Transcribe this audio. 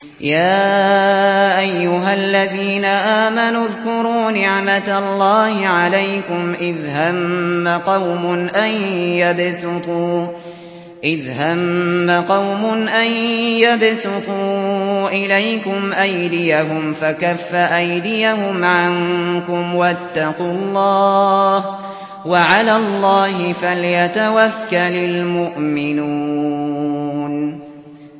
يَا أَيُّهَا الَّذِينَ آمَنُوا اذْكُرُوا نِعْمَتَ اللَّهِ عَلَيْكُمْ إِذْ هَمَّ قَوْمٌ أَن يَبْسُطُوا إِلَيْكُمْ أَيْدِيَهُمْ فَكَفَّ أَيْدِيَهُمْ عَنكُمْ ۖ وَاتَّقُوا اللَّهَ ۚ وَعَلَى اللَّهِ فَلْيَتَوَكَّلِ الْمُؤْمِنُونَ